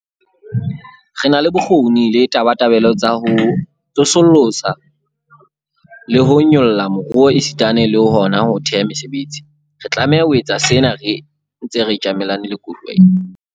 Re na le bokgoni le tabatabelo tsa ho tsosolosa le ho nyolla moruo esitana le hona ho theha mesebetsi. Re tlameha ho etsa sena re ntse re tjamelane le koduwa ena.